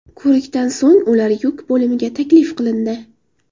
Ko‘rikdan so‘ng ular yuk bo‘limiga taklif qilindi.